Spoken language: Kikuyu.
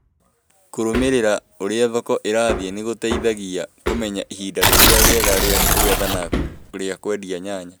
Kũrũmĩrĩra ũrĩa thoko ĩrathie nĩ kũmateithagia kũmenya ihĩndĩ rĩrĩa rĩega rĩa kũgetha na rĩa kũendia nyanya.